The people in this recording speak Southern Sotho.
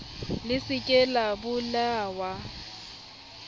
le se ke la bolellwa